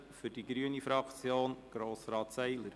Für die grüne Fraktion, Grossrat Seiler.